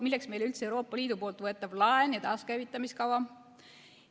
Milleks meile üldse Euroopa Liidu võetav laen ja taaskäivitamiskava?